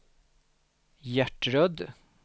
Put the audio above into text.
Gertrud